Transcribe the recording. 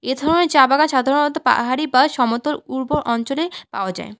এ ধরনের চা বাগান সাধারণত পাহাড়ি বা সমতল উর্বর অঞ্চলে পাওয়া যায়।